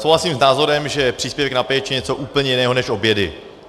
Souhlasím s názorem, že příspěvek na péči je něco úplně jiného než obědy.